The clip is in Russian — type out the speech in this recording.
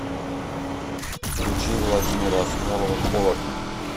включи владимира асмолова холодно